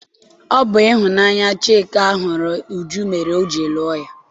Ọ bụ ịhụnanya Chika hụrụ Uju mere o ji lụọ ya.